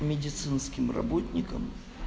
медицинским работникам